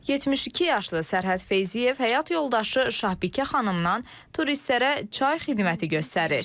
72 yaşlı Sərhəd Feyziyev həyat yoldaşı Şahbikə xanımdan turistlərə çay xidməti göstərir.